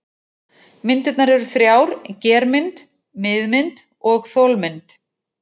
Myndir eru þrjár: germynd, miðmynd og þolmynd.